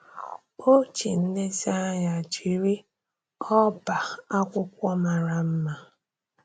O ji nlezianya jiri ọbá akwụkwọ mara mma.